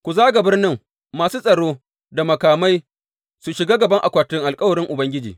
Ku zaga birnin, masu tsaro da makamai su shiga gaban akwatin alkawarin Ubangiji.